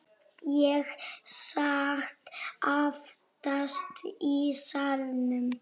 Ég sat aftast í salnum.